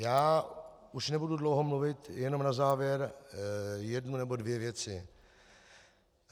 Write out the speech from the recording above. Já už nebudu dlouho mluvit, jenom na závěr jednu nebo dvě věci.